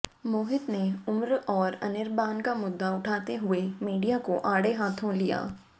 मोहित ने उमर और अनिर्बान का मुद्दा उठाते हुए मीडिया को आड़े हाँथों लिया